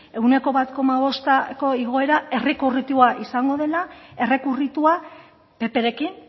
ehuneko bat koma bosteko igoera errekurritua izango dela errekurritua pprekin